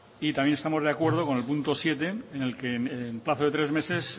y también estamos de acuerdo con el punto siete en el que en plazo de tres meses